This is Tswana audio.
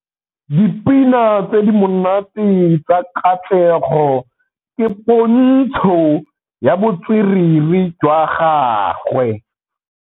Dipina tse di monate tsa Katlego ke pôntshô ya botswerere jwa gagwe.